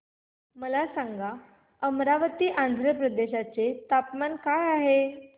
मला सांगा अमरावती आंध्र प्रदेश चे तापमान काय आहे